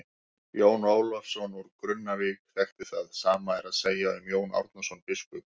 Jón Ólafsson úr Grunnavík þekkti það, sama er að segja um Jón Árnason biskup og.